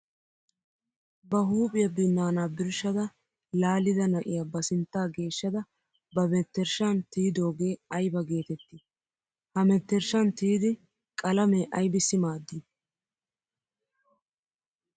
Ba huuphiya binana birshadda laallidda na'iya ba sintta geeshshadda ba menttershshan tiyyidooge aybba geetetti? Ha menttershshan tiyiddi qalame aybbissi maadi?